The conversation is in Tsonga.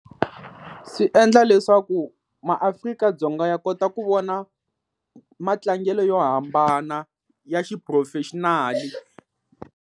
Swi endla leswaku maAfrika-Dzonga ya kota ku vona matlangelo yo hambana ya xiphurofexinali.